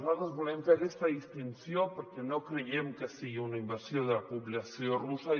nosaltres volem fer aquesta distinció perquè no creiem que sigui una invasió de la població russa